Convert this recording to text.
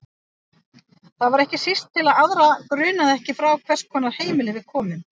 Það var ekki síst til að aðra grunaði ekki frá hvers konar heimili við komum.